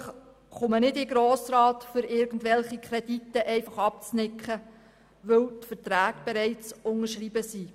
Ich persönlich komme nicht in den Grossen Rat, um irgendwelche Kredite einfach durchzuwinken, weil die Verträge bereits unterschrieben sind.